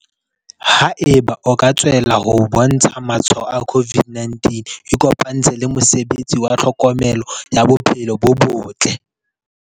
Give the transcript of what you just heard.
Haeba o ka tswella ho bontsha matshwao a COVID-19 ikopantshe le mosebetsi wa tlhokomelo ya bophelo bo botle.